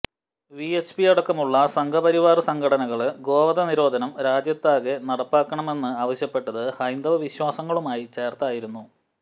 V H P അടക്കമുള്ള സംഘ് പരിവാര സംഘടനകള് ഗോവധ നിരോധം രാജ്യത്താകെ നടപ്പാക്കണമെന്ന് ആവശ്യപ്പെട്ടത് ഹൈന്ദവ വിശ്വാസങ്ങളുമായി ചേര്ത്തായിരുന്നു